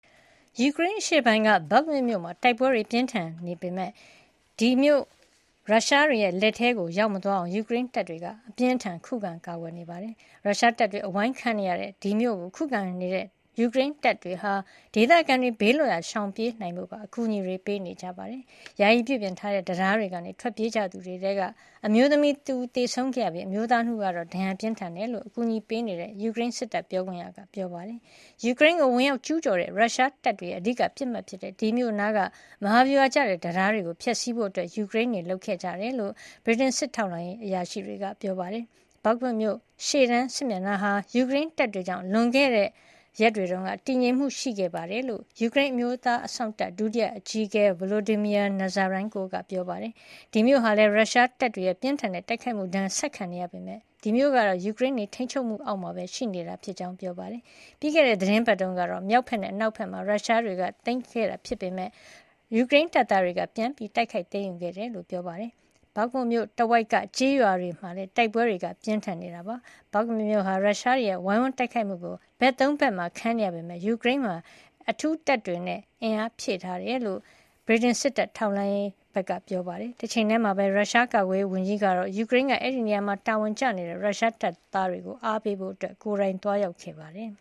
ယူကရိန်းအရှေ့ပိုင်းက Bakhmut မြို့မှာ တိုက်ပွဲတွေပြင်းထန်နေပေမယ့် ဒီမြို့ကို ရုရှားတွေလက်ထဲ ရောက်မသွားအောင် ယူကရိန်းတပ်သားတွေက အပြင်းအထန်ခုခံနေပါတယ်။ ရုရှားတပ်တွေအဝိုင်းခံနေရတဲ့ဒီမြို့ကို ခုခံကာကွယ်နေတဲ့ ယူကရိန်းတပ်တွေဟာ ဒေသခံတွေ ဘေးလွတ်ရာရှောင်ပြေးနိုင်ဖို့ပါ အကူညီတွေပေးနေကြပါတယ်။ ယာယီပြုပြင်ထားတဲ့တံတားကနေ ထွက်ပြေးကြသူတွေထဲက အမျိုးသမီးတဦးသေဆုံးခဲ့ပြီး အမျိုးသား ၂ ဦးကတော့ ဒဏ်ရာပြင်းထန်တယ်လို့ အကူညီပေးနေတဲ့ ယူကရိန်းစစ်တပ် ပြောခွင့်ရက ပြောပါတယ်။ ယူကရိန်းကိုဝင်ရောက်ကျူးကျော်တဲ့ ရုရှားတပ်တွေရဲ့အဓိကပစ်မှတ်ဖြစ်တဲ့ ဒီမြို့နားက မဟာဗျူဟာကျတဲ့တံတားတွေကိုဖျက်ဆီးဖို့ ယူကရိန်းတွေလုပ်ဆောင်ခဲ့ကြတယ်လို့ ဗြိတိန်စစ်တပ်ထောက်လှမ်းရေးအရာရှိတွေက ပြောပါတယ်။ Bakhmut ရှေ့တန်းစစ်မျက်နှာဟာ ယူကရိန်းတပ်တွေကြောင့် လွန်ခဲ့တဲ့ရက်တွေတုန်းက တည်ငြိမ်မှုရှိခဲ့တယ် လို့ ယူကရိန်း အမျိုးသားအစောင့်တပ် ဒုတိယအကြီးအကဲ Volodymyr Nazarenko က ပြောပါတယ်။ ရုရှားတပ်တွေရဲ့ ပြင်းထန်တဲ့တိုက်ခိုက်မှုဒဏ်ကို ဆက်ခံနေရပေမယ့် ဒီမြို့ကတော့ ယူကရိန်းတွေရဲ့ထိန်းချုပ်မှုအောက်မှာပဲ ရှိနေတာဖြစ်ကြောင်း ပြောပါတယ်။ ပြီးခဲ့တဲ့ သီတင်းပတ်တုန်းက မြို့မြောက်ဘက်နဲ့ အနောက်မြောက်ဘက်မှာ ရုရှားတွေသိမ်းထားခဲ့ပေမယ့် ယူကရိန်းတပ်သားတွေက ပြန်လည် တိုက်ခိုက်သိမ်းယူခဲ့တယ်လို့လည်း ပြောပါတယ်။ Bakhmut မြို့တဝိုက်က Vasiukivka ၊ Dubovo-Vasylivka ၊ Ivanivske နဲ့ Bohdanivka စတဲ့ကျေးရွာတွေမှာလည်း တိုက်ပွဲတွေ ပြင်းထန်နေတာပါ။ Bakhmut မြို့ဟာ ရုရှားတွေရဲ့ ဝိုင်းဝန်းတိုက်ခိုက်မှုကို ဘက် ၃ ဘက်မှာခံနေရပေမယ့် ယူကရိန်းက အဲဒီမှာ အထူးတပ်တွေနဲ့ အားဖြည့်ထားတယ်လို့ ဗြိတိန်စစ်တပ်ထောက်လှမ်းရေးက ပြောပါတယ်။ တချိန်တည်းမှာပဲ ရုရှားကာကွယ်ရေးဝန်ကြီးဟာ ယူကရိန်းက အဲဒီနေရာမှာတာဝန်ကျနေတဲ့ ရုရှားတပ်သားတွေကိုအားပေးဖို့ ကိုယ်တိုင်သွားရောက်ခဲ့ပါတယ်